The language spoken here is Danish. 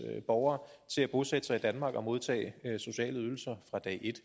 borgere til at bosætte sig i danmark og modtage sociale ydelser fra dag et